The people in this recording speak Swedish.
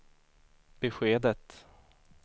beskedet